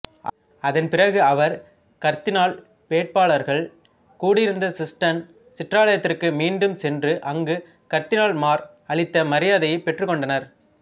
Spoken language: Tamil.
அதன்பிறகு அவர் கர்தினால்வேட்பாளர்கள் கூடியிருந்த சிஸ்டைன் சிற்றாலயத்திற்கு மீண்டும் சென்று அங்கு கர்தினால்மார் அளித்த மரியாதையைப் பெற்றுக்கொண்டார்